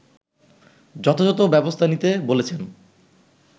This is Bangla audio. যথাযথ ব্যবস্থা নিতে বলেছেন